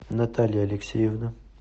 наталья алексеевна